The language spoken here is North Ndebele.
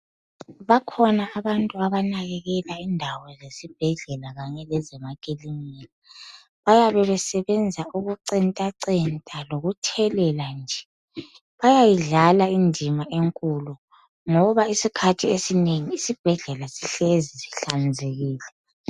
Bakhona abantu abanakekela indawo zesibhedlela kanye lezemakilinika .Bayabe besebenza ukucentacenta lokuthelela nje. Bayayidlala indima enkulu ngoba isikhathi esinengi isibhedlela sihlezi sihlanzekile.